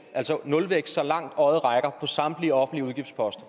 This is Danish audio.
altså nulvækst så langt øjet rækker på samtlige offentlige udgiftsposter